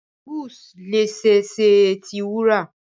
bangles le ṣee ṣe ti wura